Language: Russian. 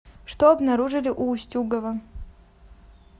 что обнаружили у устюгова